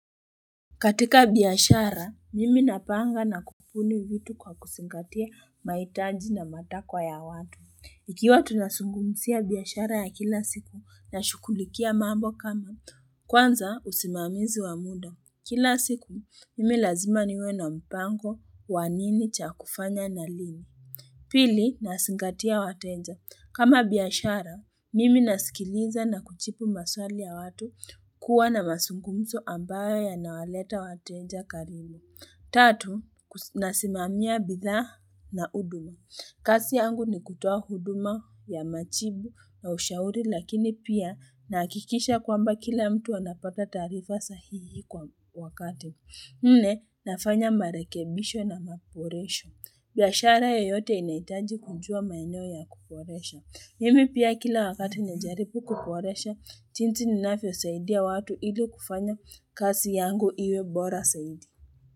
Katika biashara, mimi napanga na kubuni vitu kwa kuzingatia mahitaji na matakwa ya watu. Ikiwa tunazungumzia biashara ya kila siku na shughulikia mambo kama. Kwanza usimamizi wa muda. Kila siku, mimi lazima niwe na mpango wa nini cha kufanya na lini. Pili, nazingatia wateja. Kama biashara, mimi nasikiliza na kujibu maswali ya watu kuwa na mazungumzo ambayo yanawaleta wateja karibu. Tatu, nasimamia bidhaa na huduma. Kazi yangu ni kutoa huduma ya majibu na ushauri lakini pia nahakikisha kwamba kila mtu anapata taarifa sahihi kwa wakati. Nne, nafanya marekebisho na maboresho. Biashara yoyote inahitaji kujua maeneo ya kuboresha. Mimi pia kila wakati najaripu kuboresha, jinsi ninavyosaidia watu ili kufanya kazi yangu iwe bora zaidi.